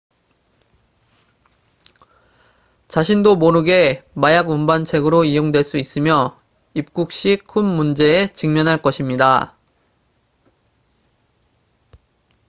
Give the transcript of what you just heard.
자신도 모르게 마약 운반책으로 이용될 수 있으며 입국 시 큰 문제에 직면할 것입니다